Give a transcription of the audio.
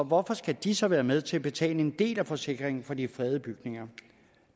hvorfor skal de så være med til at betale en del af forsikringen for de fredede bygninger